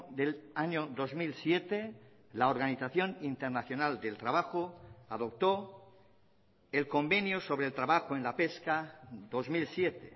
del año dos mil siete la organización internacional del trabajo adoptó el convenio sobre el trabajo en la pesca dos mil siete